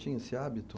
Tinha esse hábito?